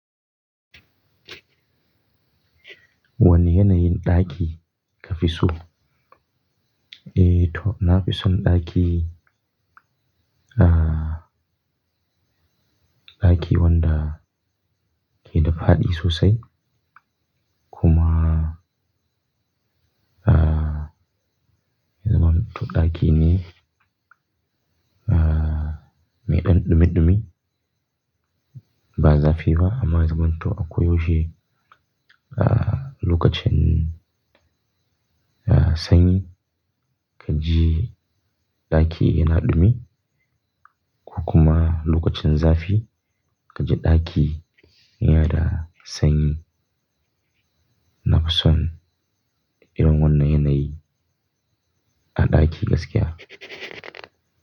Wanne yanayin ɗaki ka fi so? Eh, to na fi son ɗaki, ɗaki wanda yana da haɗi sosai. Kuma, zaman to ɗaki mai ɗan ɗumi ɗumi. Ba zafi ba amma zaman to akwai waje, lokacin sanyi ka ji ɗaki yana ɗumi. Kukkuma lokacin zafi ka ji ɗaki yana da sanyi. Na fi son irin wannan yanayi a ɗaki gaskiya.